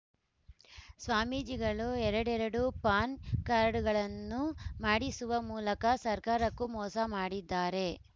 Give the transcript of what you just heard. ಸ್ವಾಮೀಜಿಗಳು ಎರಡೆರಡು ಪಾನ್ ಕಾರ್ಡ್‌ಗಳನ್ನು ಮಾಡಿಸುವ ಮೂಲಕ ಸರ್ಕಾರಕ್ಕೂ ಮೋಸ ಮಾಡಿದ್ದಾರೆ